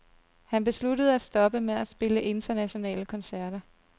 Han besluttede at stoppe med at spille internationale koncerter.